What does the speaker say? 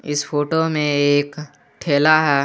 इस फोटो में एक ठेला है।